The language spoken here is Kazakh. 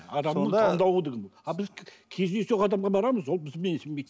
сонда а біз кездейсоқ адамға барамыз ол бізді менсінбейді